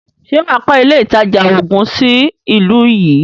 Ṣè wà á kọ́ ilé ìtajà oògun sí ìlú yìí?